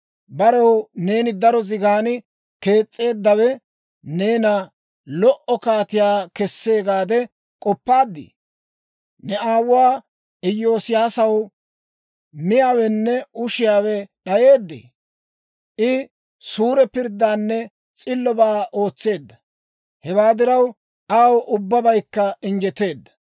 Barew neeni daro zigan kees's'eeddawe neena lo"o kaatiyaa kessee gaade k'oppaadii? Ne aawuwaa Iyoosiyaasaw miyaawenne ushiyaawe d'ayeeddee? I suure pirddaanne s'illobaa ootseedda. Hewaa diraw, aw ubbabaykka injjeteedda.